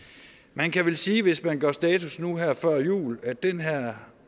man kan vel sige hvis man gør status nu her før jul at den her